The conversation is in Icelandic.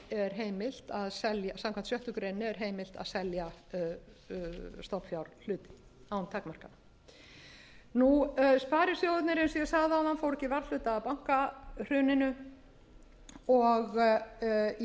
sagði samkvæmt sjöttu grein er heimilt að selja stofnfjárhlut án takmarkana sparisjóðirnir eins og ég bæði áðan fóru ekki hluta af bankahruninu og í